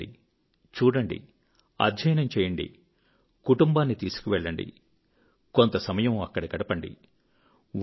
మీరు వెళ్ళండి చూడండి అధ్యయనం చేయండి కుటుంబాన్ని తీసుకువెళ్ళండి కొంత సమయం అక్కడ గడపండి